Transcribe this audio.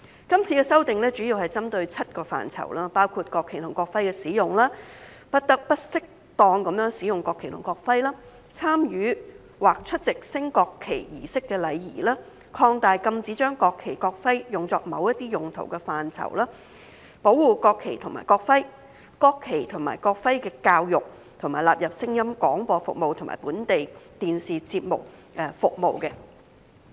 今次修訂主要針對7個範疇：國旗及國徽的使用；不得不適當使用國旗及國徽；參與或出席升國旗儀式的禮儀；擴大禁止將國旗、國徽用作某些用途的範圍；保護國旗及國徽；國旗及國徽教育；以及納入聲音廣播服務及本地電視節目服務。